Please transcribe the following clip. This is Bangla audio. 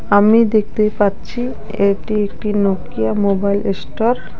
আমি দেখতে পাচ্ছি এটি একটি নোকিয়া মোবাইল এস্টোর ।